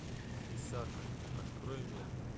писака открой мне